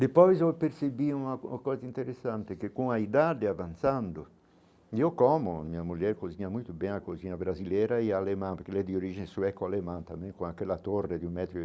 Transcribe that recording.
Depois eu percebi uma uma coisa interessante, que com a idade avançando, e eu como, minha mulher cozinha muito bem a cozinha brasileira e alemã, porque ela é de origem sueca alemã também, com aquela torre de um metro e.